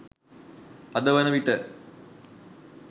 අද වන විට